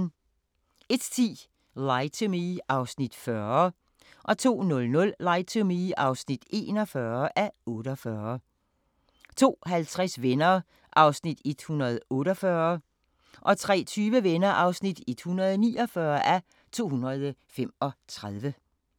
01:10: Lie to Me (40:48) 02:00: Lie to Me (41:48) 02:50: Venner (148:235) 03:20: Venner (149:235)